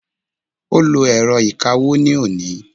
o lo èrọ ìkawó ni oni